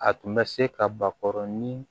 A tun bɛ se ka bakɔrɔni